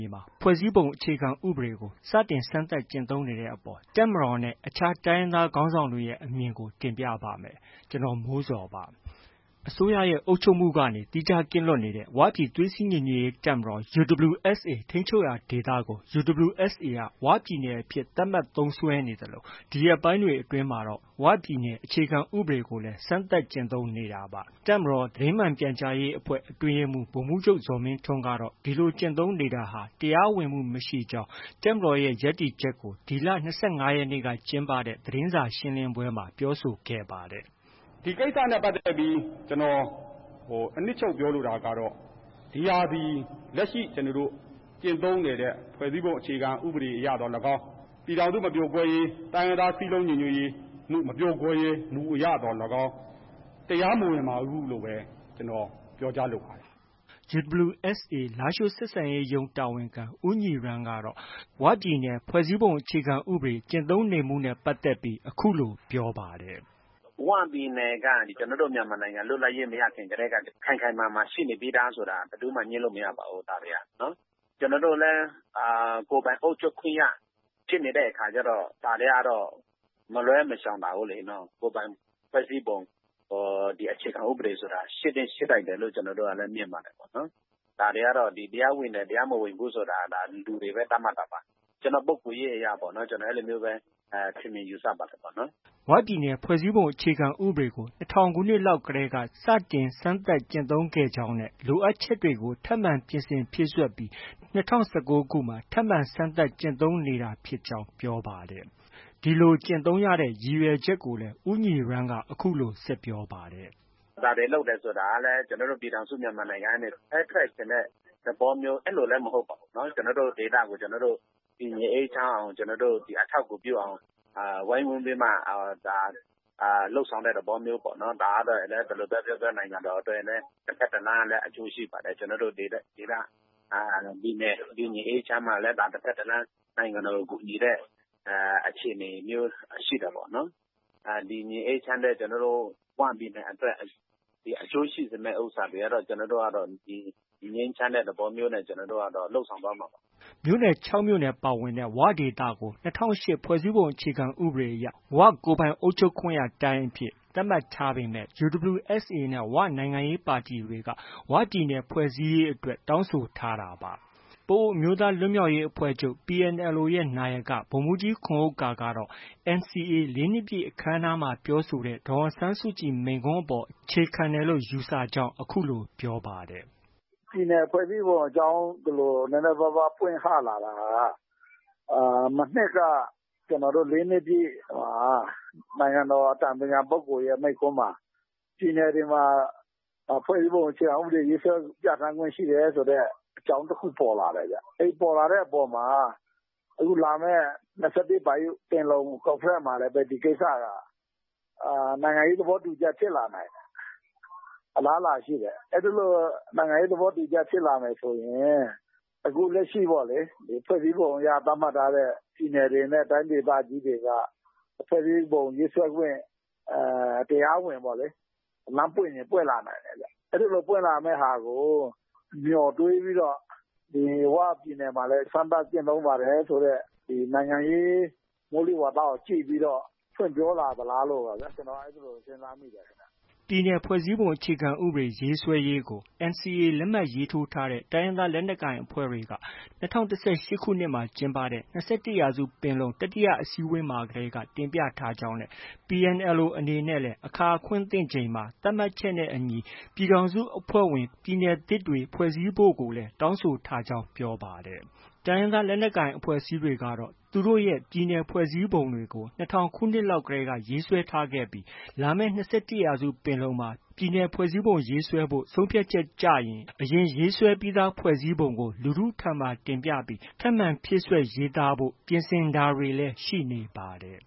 ြေမှာ ဖွဲ့စည်းပုံအခြေခံဥပဒေကို စတင်စမ်းသပ်ကျင့်သုံးနေတဲ့အပေါ် တပ်မတော်နဲ့ အခြားတိုင်းရင်းသားခေါင်းဆောင်တွေရဲ့အမြင်ကို ဗွီအိုအေမြန်မာပိုင်းသတင်းထောက် ကိုမိုးဇော်က တင်ပြပေးပါမယ်။ အစိုးရရဲ့ အုပ်ချုပ်မှုကနေ သီးခြားကင်းလွတ်နေတဲ့ ဝပြည်သွေးစည်းညီညွှတ်ရေးတပ်မတော် UWSA ထိန်းချုပ်ရာဒေသကို UWSA က ဝပြည်နယ်အဖြစ် သတ်မှတ်သုံးစွဲနေသလို ဒီရက်ပိုင်းတွေအတွင်းမှာတော့ ဝပြည်နယ် အခြေခံဥပဒေကိုလည်း စမ်းသပ်ကျင့်သုံးနေတာပါ။ တပ်မတော် သတင်းမှန်ပြန်ကြားရေးအဖွဲ့ အတွင်းရေးမှူးဗိုလ်မှုးချုပ် ဇော်မင်းထွန်းကတော့ ဒီလို ကျင့်သုံးနေတာဟာ တရားဝင်မှု မရှိကြောင်း တပ်မတော်ရဲ့ ရပ်တည်ချက်ကို ဒီလ ၂၅ ရက်နေ့က ကျင်းပတဲ့ သတင်းစာရှင်းလင်းပွဲမှာ ပြောဆိုခဲ့ပါတယ်။ “ဒီကိစ္စနဲ့ပတ်သက်ပြီး ကျနော် အနှစ်ချုပ် ပြောလိုတာကတော့ ဒီဟာသည် လက်ရှိ ကျနော်တို့ ကျင့်သုံးနေတဲ့ ဖွဲ့စည်းပုံအခြေခံဥပဒေသော်လည်းကောင်း၊ ပြည်ထောင်စုမပြိုကွဲရေး၊ တိုင်းရင်းသား စည်းလုံးညီညွှတ်မှု မပြိုကွဲမှု မပြိုကွဲရေးမူအရသော်လည်းကောင်း တရားမဝင်ပါဘူးလို့ဘဲ ကျနော် ပြောကြားလိုပါတယ်။” UWSA လားရှိုးဆက်ဆံရေးရုံး တာဝန်ခံ ဦးညီရန်းကတော့ ဝပြည်နယ် ဖွဲ့စည်းပုံအခြေခံဥပဒေကျင့်သုံးနေမှုနဲ့ ပတ်သက်ပြီး အခုလို ပြောပါတယ်။ “ဝပြည်နယ်က ကျနော်တို့ မြန်မာနိုင်ငံ လွတ်လပ်ရေး မရခင်ကတည်းက ခိုင်ခိုင်မာမာ ရှိနေပြီးသားဆိုတာ ဘယ်သူမှ ငြင်းလို့ မရပါဘူး။ ကျနော်တို့လည်း ကိုယ်ပိုင်အုပ်ချုပ်ခွင့်ရ ဖြစ်နေတဲ့အခါကျတော့ ဒါတွေကတော့ မလွဲမရှောင်သာဘူးလေ။ ကိုယ်ပိုင်ဖွဲ့စည်းပုံ အခြေခံဥပဒေဆိုတာ ရှိသင့်ရှိထိုက်တယ်လို့လည်း မြင်ပါတယ်။ တရားဝင်တယ်၊ တရားမဝင်ဘူးဆိုတာ လူတွေက လူတွေပဲ သတ်မှတ်တာပါ။ ကျနော့ပုဂ္ဂိုလ်ရေးအရပေါ့။ ကျနော် အဲလိုမျိုးပဲ ထင်မြင်ယူဆပါတယ်။” ၀ ပြည်နယ် ဖွဲ့စည်းပုံအခြေခံဥပဒေကို ၂၀၀၀ ခုနှစ်လောက်တည်းက စတင်စမ်းသပ်ကျင့်သုံးခဲ့ကြောင်း၊ လိုအပ်ချက်တွေကို ထပ်မံပြင်ဆင်ဖြည့်စွက်ပြီး ၂၀၁၉ မှာ ထပ်မံ စမ်းသပ်ကျင့်သုံးနေကြောင်း ပြောပါတယ်။ ဒီလို ကျင့်သုံးရတဲ့ ရည်ရွယ်ချက်ကိုလည်း ဦးညီရန်းက အခုလို ဆက်ပြောပါတယ်။ “ဒါတွေ လုပ်တယ်ဆိုတာကလည်း ကျနော်တို့ ပြည်ထောင်စုမြန်မာနိုင်ငံကနေ ခွဲထွက်ချင်တဲ့ သဘောမျိုး အဲလိုလည်း မဟုတ်ပါဘူး။ ကျနော်တို့ ဒေသကို ကျနော်တို့ တည်ငြိမ်အေးချမ်းအောင်၊ အထောက်အကူပြုအောင် ဝိုင်းဝန်းပြီးမှ လုပ်ဆောင်တဲ့သဘောမျိုးပေါ့။ ဒါကတော့ ဘယ်လိုပဲပြောပြော နိုင်ငံတော်အတွက်လည်း တဘက်တလမ်းက အကျိုးရှိပါတယ်။ ကျနော်တို့ ဒေသ၊ ပြည်နယ် တည်ငြိမ်အေးချမ်းမှလည်း တစ်ဘက်တစ်လမ်း နိုင်ငံတော်ကို ကူညီတဲ့ အခြေအနေမျိုးရှိတာပေါ့နော်။ တည်ငြိမ်အေးချမ်းတဲ့ ဝပြည်နယ်အတွက် အကျိုးရှိစေမယ့် ဥစ္စာတွေကတော့ ကျနော်တို့က ငြိမ်းချမ်းတဲ့ သဘောမျိုးနဲ့ လုပ်ဆောင်သွားမှာပါ။” မြို့နယ် ၆မြို့နယ် ပါဝင်တဲ့ ဝဒေသကို ၂၀၀၈ဖွဲ့စည်းပုံအရ ကိုယ်ပိုင်အုပ်ချုပ်ခွင့်ရတိုင်းအဖြစ် သတ်မှတ်ထားပေမဲ့ UWSA နဲ့ ဝနိုင်ငံရေးပါတီတွေက ဝပြည်နယ် ဖွဲ့စည်းရေးအတွက်တောင်းဆိုထားတာပါ။ ပအိုဝ်းအမျိူးသား လွတ်မြောက်ရေးအဖွဲ့ချုပ် PNLO ရဲ့ နာယက ဗိုလ်မှူးကြီးခွန်ဥက္ကာကတော့ NCA ၄နှစ်ပြည့်အခမ်းအနားမှာပြောဆိုခဲ့တဲ့ ဒေါ်အောင်ဆန်းစုကြည် မိန့်ခွန်းအပေါ် အခြေခံတယ်လို့ ယူဆကြောင်း အခုလို ပြောပါတယ်။ "ပြည်နယ်ဖွဲ့စည်းပုံအကြောင်း ဒီလိုမျိုးပွင့်ဟလာတာဟာ မနှစ်က ကျနော်တို့ ၄ နှစ်ပြည့် နိုင်ငံတော်အတိုင်ပင်ခံပုဂ္ဂိုလ်ရဲ့ မိန့်ခွန်းမှာ ပြည်နယ်တွေမှာ ဖွဲ့စည်းပုံအခြေခံဥပဒေ ရေးဆွဲပြဌာန်းခွင့်ရှိတယ်ဆိုတဲ့ အကြောင်းတစ်ခု ပေါ်လာတဲ့ဗျ။ အဲဒီ ပေါ်လာတဲ့အပေါ်မှာ အခုလာမယ် ၂၁ ပင်လုံ ကွန်ဖရင့်မှာလည်း ဒီကိစ္စက နိုင်ငံရေးသဘောတူညီချက် ဖြစ်လာနိုင်တယ်။ အလားအလာရှိတယ်။ အဲလို နိုင်ငံရေး သဘောတူညီချက် ဖြစ်လာမယ်ဆိုရင် အခုလက်ရှိ ဖွဲ့စည်းပုံအရ သတ်မှတ်ထားတဲ့ ပြည်နယ်တွေနဲ့ တိုင်းဒေသကြီးတွေက ဖွဲ့စည်းပုံရေးဆွဲခွင့် တရားဝင် လမ်းပွင့်ချင်ပွင့်လာနိုင်တယ်ခင်ဗျ။ အဲဒီလို ပွင့်လာမယ့် ဟာကို မျှော်တွေးပြီးတော့ ဝပြည်နယ်မှာလည်း စမ်းသပ်ကျင့်သုံးပါတယ်ဆိုတဲ့ နိုင်ငံရေး မိုးလေဝသကို ကြည့်ပြီးတော့ ဖွင့်ပြောလာသလားလို့ ကျနော်က အဲလို စဉ်းစားမိတယ်။” NCA အပစ်ရပ်စာချုပ် လက်မှတ် ရေးထိုးထားတဲ့ တိုင်းရင်းသားလက်နက်ကိုင်အဖွဲ့တွေက ၂၀၁၈ ခုနှစ်မှာ ကျင်းပခဲ့တဲ့ ၂၁ ရာစုပင်လုံ တတိယအစည်းအဝေးမှာတည်းက တင်ပြထားကြောင်းနဲ့ PNLO အနေနဲ့ လည်းအခါ အခွင့် သင့်ချိန်မှာ သတ်မှတ်ချက်နဲ့အညီ ပြည်ထောင်စုအဖွဲ့ဝင် ပြည်နယ်သစ်တွေ ဖွဲ့စည်းဖို့ကိုလည်း တောင်းဆိုထားကြောင်း ပြောပါတယ်။ တိုင်းရင်းသားလက်နက်ကိုင်အဖွဲ့အစည်းတွေကတော့ သူတို့ရဲ့ ပြည်နယ်ဖွဲ့စည်းပုံတွေကို ၂၀၀၀ ခုနှစ်လောက်ကတည်းက ရေးဆွဲခဲ့ကြပြီး လာမယ့် ၂၁ ရာစုပင်လုံမှာ ပြည်နယ်ဖွဲ့စည်းပုံရေးဆွဲဖို့ ဆုံးဖြတ်ချက် ကျရင် အရင်ရေးဆွဲပြီးသားဖွဲ့စည်းပုံကို လူထုဆီမှာ တင်ပြပြီး ပြင်ဆင် ဖြည့်စွက် ရေးဆိုကြဖို့ ပြင်ဆင်တာတွေ ရှိနေပါတယ်